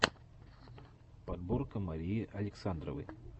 подборка марии александровой